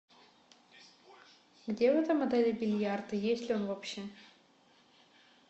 где в этом отеле бильярд и есть ли он вообще